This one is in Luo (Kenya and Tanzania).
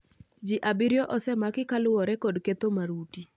Ji abiriyo osemaki kaluwore kod ketho maruti